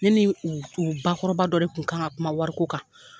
Ne ni u u bakɔrɔba dɔ de kun kan ka kuma wari ko kan.